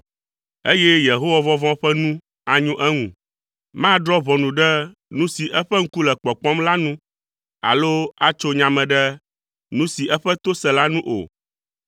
eye Yehowavɔvɔ̃ ƒe nu anyo eŋu. Madrɔ̃ ʋɔnu ɖe nu si eƒe ŋku le kpɔkpɔm la nu, alo atso nya me ɖe nu si eƒe to se la nu o,